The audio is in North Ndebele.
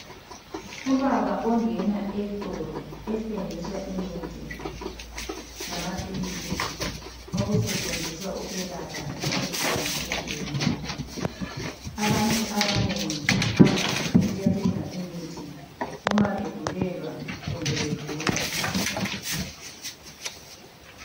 Ubaba ongena esitolo esithengisa imithi lamaphilisi okusetshenziswa ukwelapha imikhuhlane etshiyeneyo abantu abanengi bahamba besiyathenga imithi uma begulelwa kumbe begula.